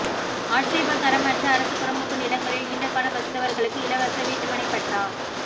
ஆட்சேபகரமற்ற அரசு புறம்போக்கு நிலங்களில் நீண்டகாலம் வசித்தவர்களுக்கு இலவச வீட்டுமனை பட்டா